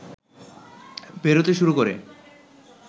বেরোতে শুরু করে